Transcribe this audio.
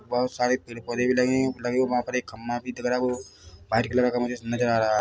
बहोत सारे पेड़ पौधे भी लगे हैं लगे-- लगे वहाँ पर एक खंबा भी दिख रहा है वो व्हाइट कलर का मुझे नजर आ रहा है ।